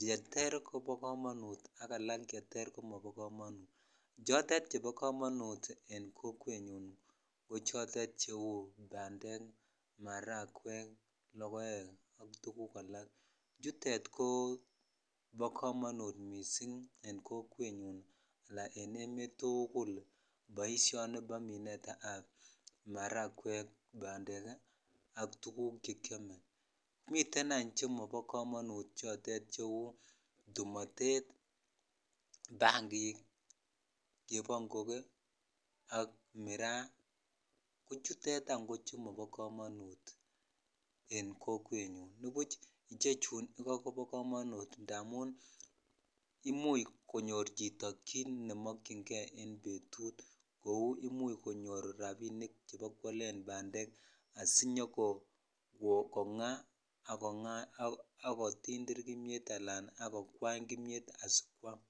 cheter kobo komonut ak alkcheter komobo chotet chebo komonut en kokwetnyun ko chotet vheu bandek ,matakwek lokoek ak alak chechang chutet koo bo komonut missing en kokwetnyun ala en emet tukul boishoni bo minet ab marejwek ,bandek ak tukuk chekiome miten any chemobo komonut chotet cheu tumotet ,bangik ,chepangogee ak miraa ko chutet an Jo chemobo komonut en kokwetnyun nibuch ichechun iko kobo komonut indamun imuch konyor chito kit nemokyin kei en betut kou imuch konyor rabinik sikwalen bandek asinyokongaa akotitir kimiet ala akojwany kimiet asikwam.